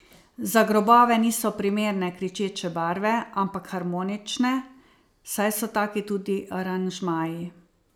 Za grobove niso primerne kričeče barve, ampak harmonične, saj so taki tudi aranžmaji.